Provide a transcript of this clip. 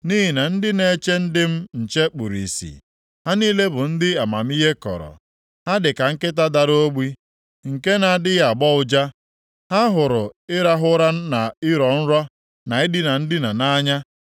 Nʼihi na ndị na-eche ndị m nche kpuru ìsì. Ha niile bụ ndị amamihe kọrọ. Ha dị ka nkịta dara ogbi, nke na-adịghị agbọ ụja. Ha hụrụ ịrahụ ụra na ịrọ nrọ, na idina ndina nʼanya.